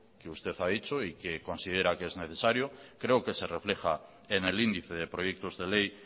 que usted ha dicho y que considera que es necesario creo que se refleja enel índice de proyectos de ley